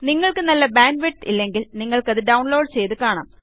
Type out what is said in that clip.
നിങ്ങൾക്ക് നല്ല bandwidth ഇല്ലെങ്കിൽ നിങ്ങൾക്ക് അത് ഡൌണ്ലോഡ് ചെയ്ത് കാണാം